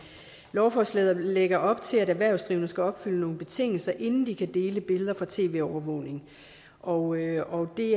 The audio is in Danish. lovforslaget lægger op til at erhvervsdrivende skal opfylde nogle betingelser inden de kan dele billeder fra tv overvågning og det